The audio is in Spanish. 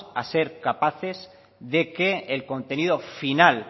a ser capaces de que el contenido final